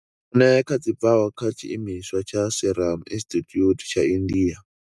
eneca dzi bvaho kha tshiimiswa tsha Serum Institute tsha India.